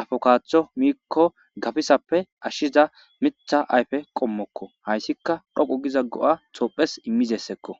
afokaaththo miikko gafisappe ashshiza mitha ayfe qommokko hayssika dhoqu giza go'a tophes immizessekko